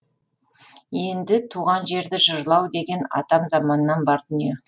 енді туған жерді жырлау деген атам заманнан бар дүние